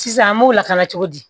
Sisan an m'o lakana cogo di